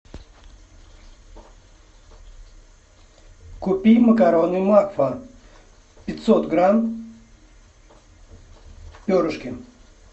купи макароны макфа пятьсот грамм перышки